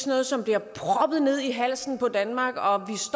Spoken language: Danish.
noget som bliver proppet ned i halsen på danmark og